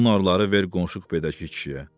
Bu narları ver qonşu kupedəki kişiyə.